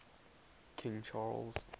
king charles